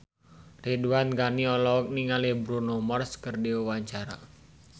Ridwan Ghani olohok ningali Bruno Mars keur diwawancara